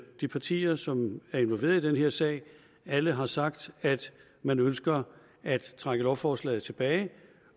de partier som er involveret i den her sag alle har sagt at man ønsker at trække lovforslaget tilbage